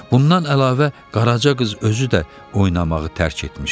Bundan əlavə, Qaraca qız özü də oynamağı tərk etmişdi.